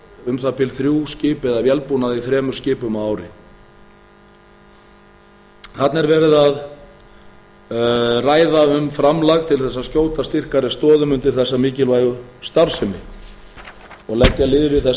um það bil þrjú skip eða vélbúnað í þremur skipum á ári þarna er verið að ræða um framlag til að skjóta styrkari stoðum undir þessa mikilvægi starfsemi og leggja lið við